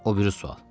O biri sual.